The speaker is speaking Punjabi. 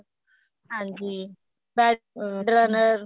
ਹਾਂਜੀ bed runner